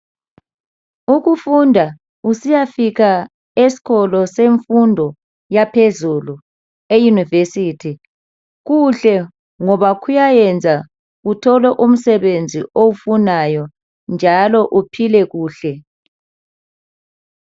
Ukufunda usiyafika eskolo semfundo yaphezulu eyunivesithi. kuhle ngoba kuyayenza uthole umsebenzi owufunayo. Njalo uphile kuhle.